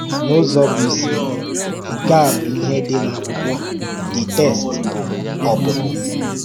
N’ụzọ bụ́ isi, nke a bụ ihe dị n’akwụkwọ the text bụ́ Ọpụpụ.